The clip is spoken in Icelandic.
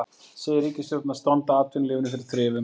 Segir ríkisstjórnina standa atvinnulífinu fyrir þrifum